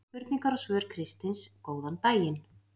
Spurningar og svör Kristins Góðan daginn!